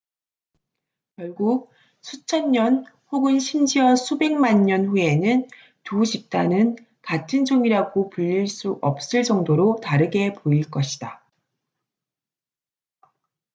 결국 수천 년 혹은 심지어 수백만 년 후에는 두 집단은 같은 종이라고 불릴 수 없을 정도로 다르게 보일 것이다